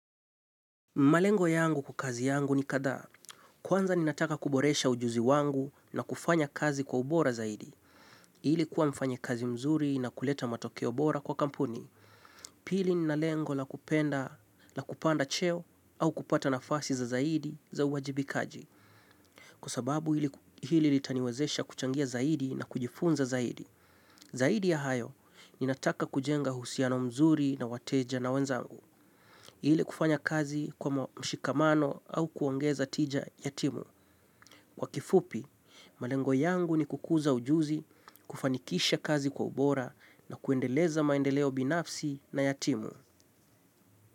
Malengo yangu kwa kazi yangu ni kadha. Kwanza ni nataka kuboresha ujuzi wangu na kufanya kazi kwa ubora zaidi. Hili kuwa mfanya kazi mzuri na kuleta matokeo bora kwa kampuni. Pili ni nalengo la kupenda, la kupanda cheo au kupata nafasi za zaidi za uwajibikaji. Kwa sababu hili litaniwezesha kuchangia zaidi na kujifunza zaidi. Zaidi ya hayo, mi nataka kujenga uhusiano mzuri na wateja na wenzangu. Ile kufanya kazi kwa mshikamano au kuongeza tija yatimu. Kwa kifupi, malengo yangu ni kukuza ujuzi, kufanikisha kazi kwa ubora na kuendeleza maendeleo binafsi na yatimu.